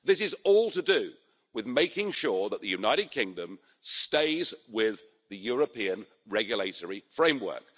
This is all to do with making sure that the United Kingdom stays with the European regulatory framework.